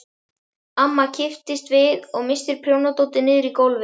Amma kippist við og missir prjónadótið niður á gólf.